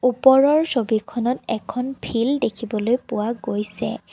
ওপৰৰ ছবিখনত এখন ফিল্ দেখিবলৈ পোৱা গৈছে।